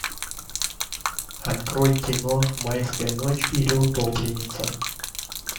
открой кино майская ночь или утопленница